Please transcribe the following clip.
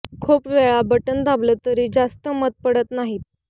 खूप वेळा बटण दाबलं तरी जास्त मतं पडत नाहीत